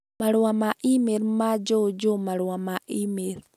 Marũa ma e-mail ma Joejoe marũa ma e-mail